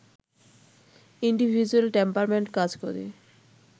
individual temperament কাজ করে